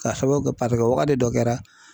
K'a sababu kɛ wagati dɔ kɛra.